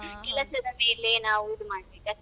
ನಾವಿದ ಮಾಡ್ಬೇಕಾಗ್ತದೆ.